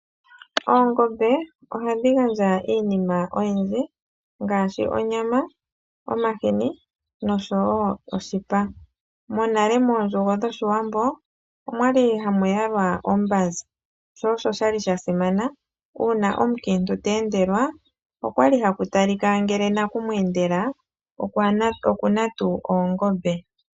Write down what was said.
Oongombe ohadhi gandja iinima oyindji ngaashi onyama, omahini noshowoo oshipa. Monale mondjugo dhOshiwambo omwali hamu talwa ombanza. Oshali sha simana woo uuna omukiintu te endelwa okwali haku talika ngele naku mweendela oku na tuu oongombe.